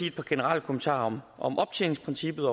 et par generelle kommentarer om optjeningsprincippet